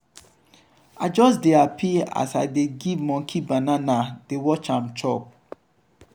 i just dey hapi as i dey give monkey banana dey watch am chop.